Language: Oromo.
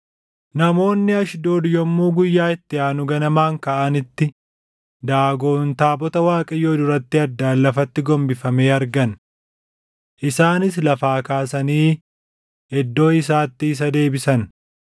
Namoonni Ashdood yommuu guyyaa itti aanu ganamaan kaʼanitti Daagon taabota Waaqayyoo duratti addaan lafatti gombifamee argan! Isaanis lafaa kaasanii iddoo isaatti isa deebisan.